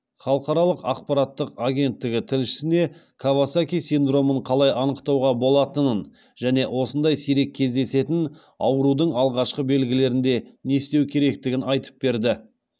халықаралық ақпараттық агенттігі тілшісіне кавасаки синдромын қалай анықтауға болатынын және осындай сирек кездесетін аурудың алғашқы белгілерінде не істеу керектігін айтып берді